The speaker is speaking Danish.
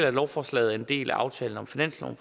at lovforslaget er en del af aftalen om finansloven